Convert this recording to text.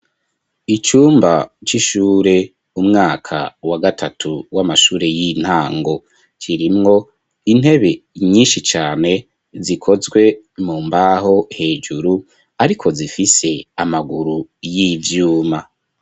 Icumba c'ishure, umwaka wa gatatu w'amashure y'intango, kirimwo intebe nyinshi cane zikozwe mu mbaho hejuru, ariko zifise amaguru y'ivyuma.